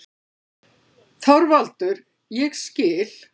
ÞORVALDUR: Ég skil.